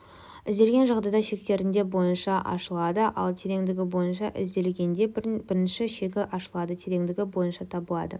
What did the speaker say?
ізделген жағдайда шектерінде бойынша ашылады ал тереңдігі бойынша ізделгенде бірінші шегі ашылады тереңдігі бойынша табылады